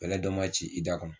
Bɛlɛ dɔ ma ci i da kɔnɔ